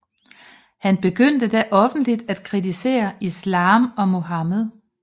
Han begyndte da offentligt at kritisere Islam og Muhammed